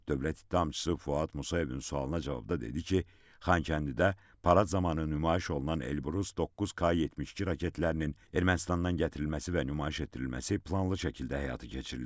Dövlət ittihamçısı Fuad Musayevin sualına cavabda dedi ki, Xankəndidə parad zamanı nümayiş olunan Elbrus 9K-72 raketlərinin Ermənistandan gətirilməsi və nümayiş etdirilməsi planlı şəkildə həyata keçirilib.